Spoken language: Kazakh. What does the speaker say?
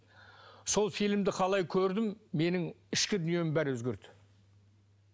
сол фильмді қалай көрдім менің ішкі дүнием бәрі өзгерді